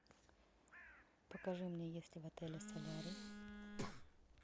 покажи мне есть ли в отеле солярий